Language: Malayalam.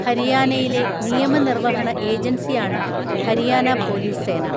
ഹരിയാനയിലെ നിയമ നിർവ്വഹണ ഏജൻസിയാണ് ഹരിയാന പോലീസ് സേന.